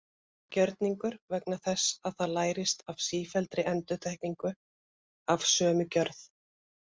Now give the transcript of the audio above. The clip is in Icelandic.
Það er gjörningur vegna þess að það lærist af sífelldri endurtekningu af sömu gjörð.